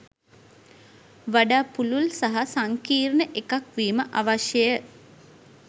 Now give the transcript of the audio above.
වඩා පුළුල් සහ සංකීර්ණ එකක් වීම අවශ්‍යය.